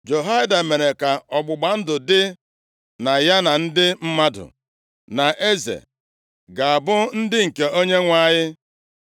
Jehoiada mere ka ọgbụgba ndụ dị, na ya, na ndị mmadụ, na eze, ga-abụ ndị nke Onyenwe anyị.